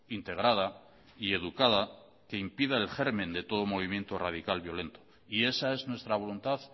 integrada y educada que impida el germen de todo movimiento radical violento y esa es nuestra voluntad